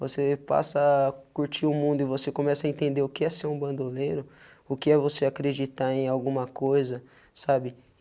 Você passa a curtir o mundo e você começa a entender o que é ser um bandoleiro, o que é você acreditar em alguma coisa, sabe?